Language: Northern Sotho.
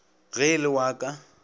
ge e le wa ka